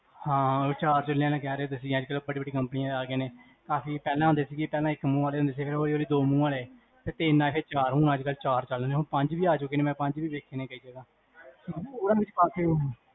ਹਾਂ, ਚਾਰ ਚੁਲ੍ਹੇ ਆਲਾ ਕੇਹਰੇ ਹੋ ਤੁਸੀਂ, ਅਜਕਲ ਬਡੀ ਬਡੀ companies ਆਗਿਆਂ ਨੇ, ਕਾਫੀ ਪੇਹ੍ਲਾਂ ਹੁੰਦੇ ਸੀਗੇ, ਪੇਹ੍ਲਾਂ ਇਕ ਮੂਹ ਆਲੇ ਹੁੰਦੇ ਸੀਗੇ, ਫੇਰ ਦੋ ਮੂਹ ਆਲੇ, ਫੇਰ ਤਿਨ ਆਲੇ, ਫੇਰ ਚਾਰ ਮੂਹ੍ਹ ਆਲੇ, ਹੁਣ ਪੰਜ ਵੀ ਆਜੁਗੇ, ਮੈਂ ਪੰਜ ਵੀ ਦੇਖੇ ਨੇ ਕਈ ਜਗਹ